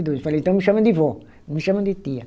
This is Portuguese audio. Eu falei, então me chama de vó, não me chama de tia.